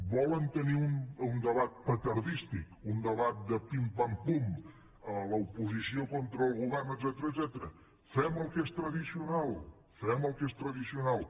volen tenir un debat petardístic un debat de pim pampum l’oposició contra el govern etcètera fem el que és tradicional fem el que és tradicional